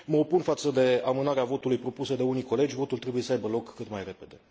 Mă opun față de amânarea votului propusă de unii colegi, votul trebuie să aibă loc cât mai repede.